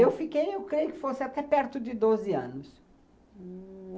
Eu fiquei, eu creio que fosse até perto de doze anos. Hum...